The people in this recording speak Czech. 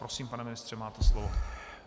Prosím, pane mistře, máte slovo.